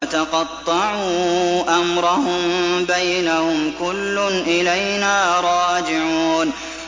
وَتَقَطَّعُوا أَمْرَهُم بَيْنَهُمْ ۖ كُلٌّ إِلَيْنَا رَاجِعُونَ